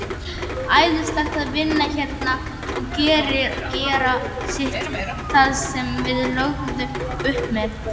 Æðislegt að vinna hérna og gera sitt, það sem við lögðum upp með.